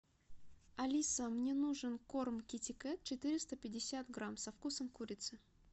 алиса мне нужен корм китикет четыреста пятьдесят грамм со вкусом курицы